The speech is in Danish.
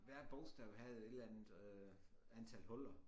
Hvert bogstav havde et eller andet øh antal huller